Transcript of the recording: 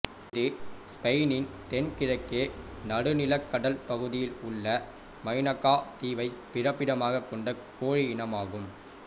இது ஸ்பெயினின் தென் கிழக்கே நடுநிலக் கடல் பகுதியில் உள்ள மைனாக்கா தீவைப் பிறப்பிடமாக கொண்ட கோழி இனமாகும்